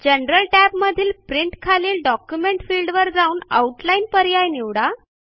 general टॅबमधील print खालील document फिल्डवर जाऊन आउटलाईन पर्याय निवडा